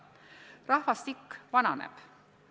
Rahvastik vananeb.